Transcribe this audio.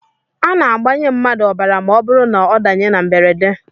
A na-agbanye mmadụ ọbara ma ọ bụrụ na ọ danye na mberede